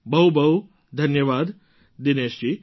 બહુ બહુ ધન્યવાદ દિનેશજી